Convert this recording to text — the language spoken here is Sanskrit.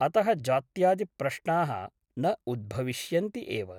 अतः जात्यादिप्रश्नाः न उद्भविष्यन्ति एव ।